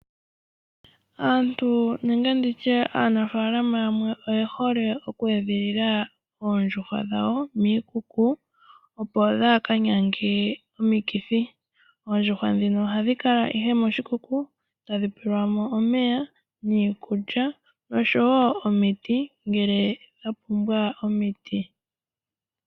Aanafalama yamwe oye hole okweedhilila oondjuhwa dhawo kiikuku, opo kadhi kanyange omikithi. Oondjuhwa dhino ohadhi kala moshikuku tadhi pewa iikulya, omeya oshowo omiti ngele dha pumbwa omiti.